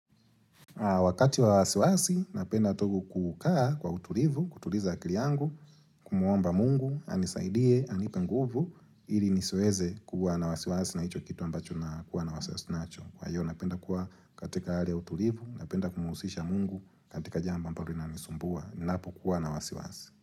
Wakati wa wasiwasi, napenda tu kukaa kwa utulivu, kutuliza akili yangu, kumwomba mungu, anisaidie, anipe nguvu, ili nisiweze kuwa na wasiwasi na hicho kitu ambacho na kuwa na wasiwasi nacho. Kwa hiyo, napenda kuwa katika hali ya utulivu, napenda kumuhusisha mungu, katika jambo ambalo linanisumbua, ninapokuwa na wasiwasi.